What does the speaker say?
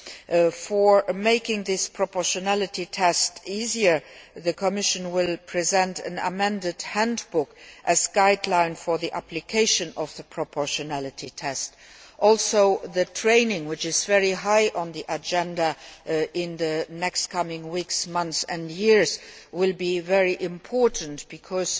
In order to make this proportionality test easier, the Commission will present an amended handbook as a guideline for the application of the proportionality test. Training, which is very high on the agenda for the coming weeks, months and years, will be very important because